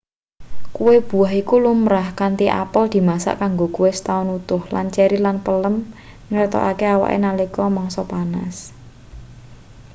kue buah iku lumrah kanthi apel dimasak kanggo kue setaun utuh lan ceri lan prem ngetokne awake nalika mangsa panas